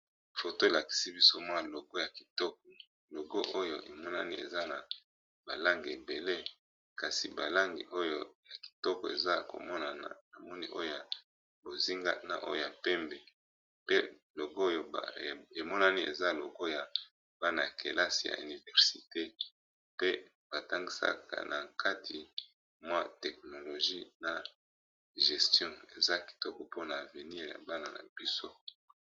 Foto elakisi biso mwa logo ya kitoko logo oyo emonani eza na balange ebele kasi balangi oyo ya kitoko eza komona na na moni oyoya bozingana oyo ya pembe pe logo oyo emonani eza logo ya bana ya kelasi ya universite pe batangisaka na nkati mwa teknologie na gestion eza kitoko mpona avenir ya bana na biso.